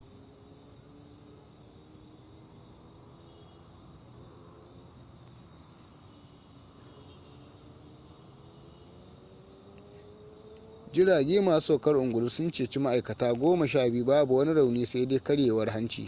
jirage masu saukar ungulu sun ceci ma'aikata goma sha biyu babu wani rauni sai dai karyewar hanci